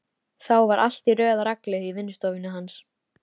Þá var allt í röð og reglu í vinnustofunni hans.